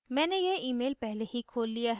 मैंने यह email पहले ही खोल लिया है